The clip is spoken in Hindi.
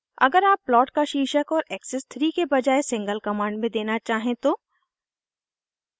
अगर आप प्लॉट का शीर्षक और एक्सिस 3 के बजाय सिंगल कमांड में देना चाहें तो